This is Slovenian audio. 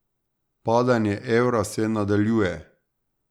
Padanje evra se nadaljuje.